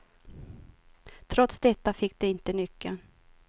Trots detta fick de inte nyckeln.